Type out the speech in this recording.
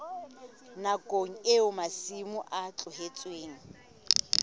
nakong eo masimo a tlohetsweng